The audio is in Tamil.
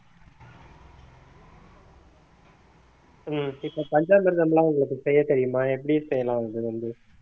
உம் இப்ப பஞ்சாமிர்தம் எல்லாம் உங்களுக்கு செய்யத் தெரியுமா எப்படி செய்யலாம் இது வந்து